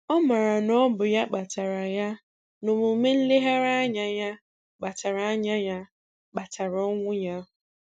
Ọ maara na ọ bụ ya kpatara ya na omume nleghara anya ya kpatara anya ya kpatara ọnwụ ya.